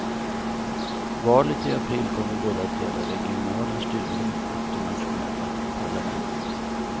Valet i april kommer både att gälla regionala styren och det nationella parlamentet.